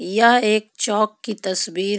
यह एक चोक की तस्वीर है.